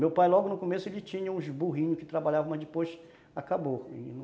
Meu pai logo no começo ele tinha uns burrinhos que trabalhavam, mas depois acabou.